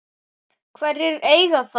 Hverjir eiga þá?